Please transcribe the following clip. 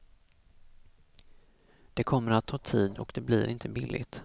Det kommer att ta tid och det blir inte billigt.